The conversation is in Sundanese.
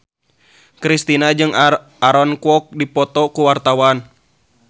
Kristina jeung Aaron Kwok keur dipoto ku wartawan